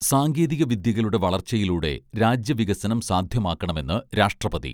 സാങ്കേതിക വിദ്യകളുടെ വളർച്ചയിലൂടെ രാജ്യ വികസനം സാധ്യമാക്കണമെന്ന് രാഷ്ട്രപതി